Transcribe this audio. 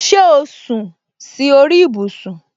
Ṣé o sún si ori ibusun